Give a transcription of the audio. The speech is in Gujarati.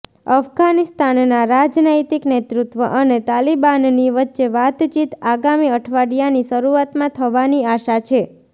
અફઘાનિસ્તાનના રાજનૈતિક નેતૃત્વ અને તાલિબાનની વચ્ચે વાતચીત આગામી અઠવાડિયાની શરૂઆતમાં થવાની આશા છે